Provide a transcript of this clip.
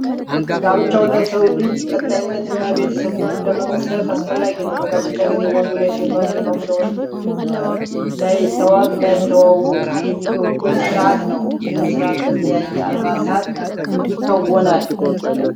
ጋብቻ ለሰው ልጅ ቀጣይነት እና ቤተሰብን ለመመስረት አስፈላጊ ነው። በጋብቻ ጊዜ ወንዱ ለሴቷ ሴቷም ለወንዲ ላይተዋት ላትተወው ቃል የሚገቡበት ስርአት ነው። ይህም ስርዓት በተለያዩ አልባሳት ይከወናል።